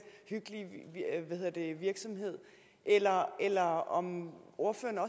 hyggelige virksomhed eller eller om ordføreren